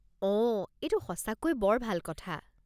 অঁ, এইটো সঁচাকৈ বৰ ভাল কথা।